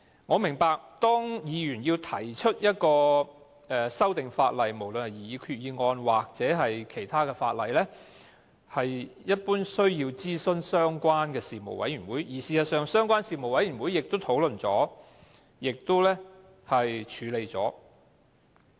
我明白，議員提出的修訂，無論是以決議案或法案形式提出，一般都需要諮詢相關的事務委員會，而事實上，相關事務委員會亦已經討論及處理。